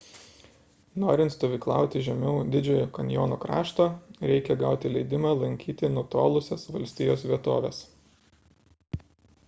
norint stovyklauti žemiau didžiojo kanjono krašto reikia gauti leidimą lankyti nutolusias valstijos vietoves